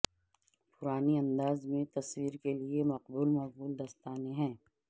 پرانی انداز میں تصویر کے لئے مقبول مقبول دستانے ہیں